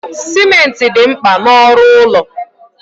Simenti dị mkpa na ọrụ ụlọ